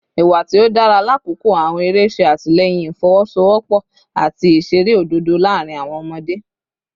Iwa ti o dara lakoko awọn ere ṣe atilẹyin ifowosowopo ati iṣere ododo laarin awọn ọmọde